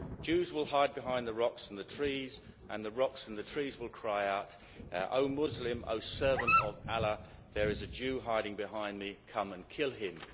Jews will hide behind the rocks and the trees, and the rocks and the trees will cry out, Oh Muslim, oh servant of Allah, there is a Jew hiding behind me, come and kill him.'